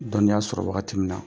Dɔnniya sɔrɔ wagati min na.